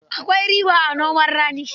Akwai riba a noman rani.